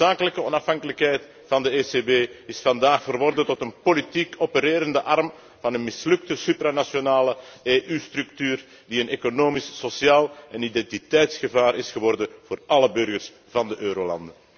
De noodzakelijke onafhankelijkheid van de ECB is vandaag verworden tot een politiek opererende arm van een mislukte supranationale EU structuur die een economisch sociaal en identiteitsgevaar is geworden voor alle burgers van de eurolanden.